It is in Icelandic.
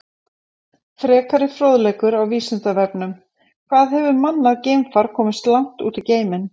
Frekari fróðleikur á Vísindavefnum: Hvað hefur mannað geimfar komist langt út í geiminn?